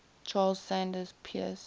charles sanders peirce